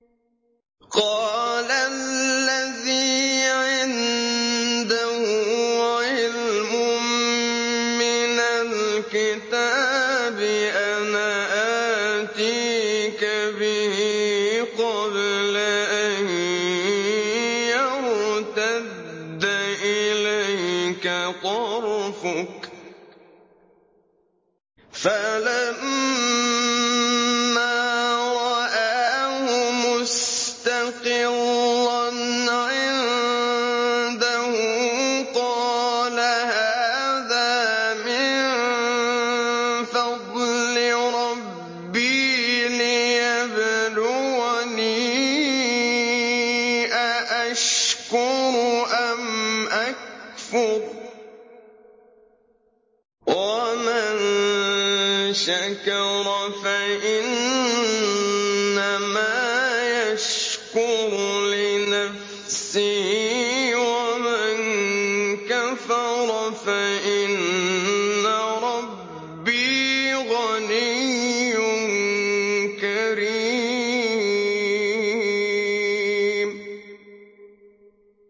قَالَ الَّذِي عِندَهُ عِلْمٌ مِّنَ الْكِتَابِ أَنَا آتِيكَ بِهِ قَبْلَ أَن يَرْتَدَّ إِلَيْكَ طَرْفُكَ ۚ فَلَمَّا رَآهُ مُسْتَقِرًّا عِندَهُ قَالَ هَٰذَا مِن فَضْلِ رَبِّي لِيَبْلُوَنِي أَأَشْكُرُ أَمْ أَكْفُرُ ۖ وَمَن شَكَرَ فَإِنَّمَا يَشْكُرُ لِنَفْسِهِ ۖ وَمَن كَفَرَ فَإِنَّ رَبِّي غَنِيٌّ كَرِيمٌ